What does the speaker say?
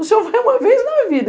O senhor vai uma vez na vida.